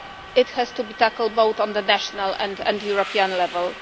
It has to be tackled both on the national and the European level.